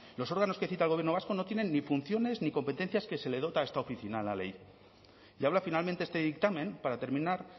los órganos que cita al gobierno vasco no tienen ni funciones ni competencias que le dota a esta oficina la ley y habla finalmente este dictamen para terminar